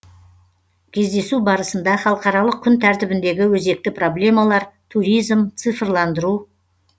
кездесу барысында халықаралық күн тәртібіндегі өзекті проблемалар туризм цифрландыру